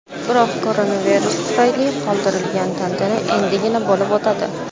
Biroq koronavirus tufayli qoldirilgan tantana endigina bo‘lib o‘tadi.